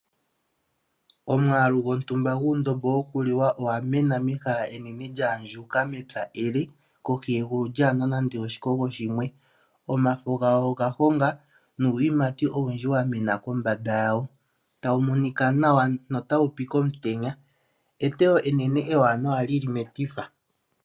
Omwaalu gotumba guundombo wokuliwa owa mena mehala enene lyaandjuka mepya ele kokegulu lyaa na nando oshikogo shimwe, omafo gawo ogahonga nuuyimati owundji wa mena kombanda yawo, tawu nika nawa notawu pi komutenya, eteyo enene ewaanawa li li metifa.